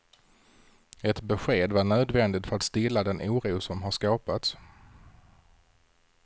Ett besked var nödvändigt för att stilla den oro som har skapats.